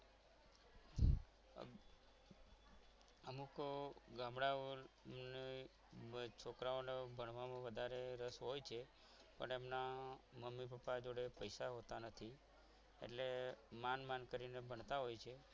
અમુક ગામડાઓની છોકરાઓને ભણવાની વધારે રસ હોય છે પણ એમના મમ્મી પપ્પા જોડે પૈસા હોતા નથી એટલે માંડ માંડ કરીને ભણતા હોય છે.